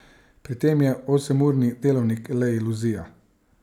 Pri tem je osemurni delovnik le iluzija.